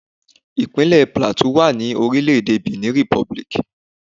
Ìpínlẹ̀ Plateau wà ní orílẹ̀ẹ̀dè Benin Republic.